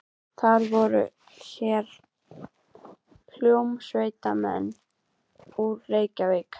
Það voru hér hljómsveitarmenn úr Reykjavík.